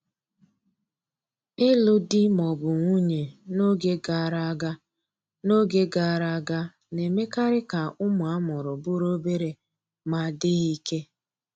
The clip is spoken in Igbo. Ịlụ di ma ọ bụ nwunye n'oge gara aga n'oge gara aga na-emekarị ka ụmụ a mụrụ bụrụ obere ma dịghị ike.